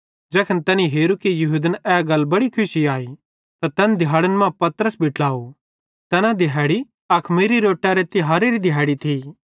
ज़ैखन तैनी हेरू कि यहूदन ए गल बड़ी खुशी अई त तैन दिहाड़न मां पतरस भी ट्लाव तैना दिहैड़ी अखमीरी रोट्टरी तिहारेरी थी